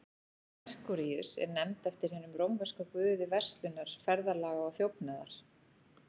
Merkúríus er nefnd eftir hinum rómverska guði verslunar, ferðalaga og þjófnaðar.